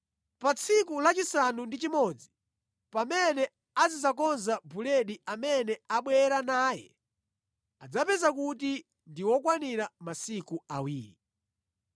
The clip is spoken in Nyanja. Pa tsiku lachisanu ndi chimodzi, pamene azidzakonza buledi amene abwera naye, adzapeza kuti ndi wokwanira masiku awiri.”